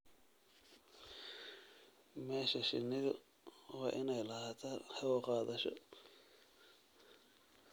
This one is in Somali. Meesha shinnidu waa inay lahaataa hawo-qaadasho.